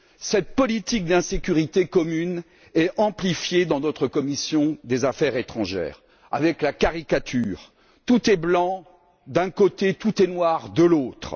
Cette politique d'insécurité commune est amplifiée dans notre commission des affaires étrangères avec la caricature selon laquelle tout est blanc d'un côté et tout est noir de l'autre.